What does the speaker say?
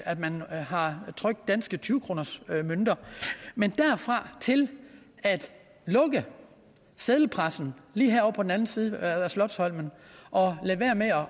at man har trykt danske tyve kronersmønter men derfra og til at lukke seddelpressen lige herovre på den anden side af slotsholmen og lade være med